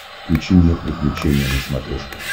включи мне приключения на смотрешке